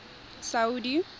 saudi